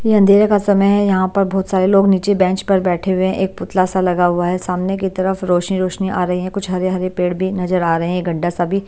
ये अंधेरे का समय है यहाँ पर बहुत सारे लोग नीचे बेंच पर बैठे हुए हैं एक पुतला सा लगा हुआ है सामने की तरफ रोशनी रोशनी आ रही है कुछ हरे-हरे पेड़ भी नजर आ रहे हैं ये गड्ढा सा भी--